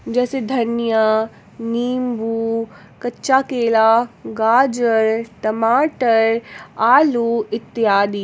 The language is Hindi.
जैसे धनिया नींबू कच्चा केला गाजर टमाटर आलू इत्यादि।